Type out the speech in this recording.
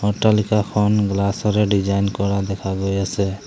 অট্টালিকাখন glass ৰে design কৰা দেখা গৈ আছে।